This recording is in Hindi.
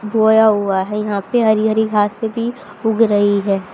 बोया हुआ है यहां पे हरी हरी घासें भी उग रही है।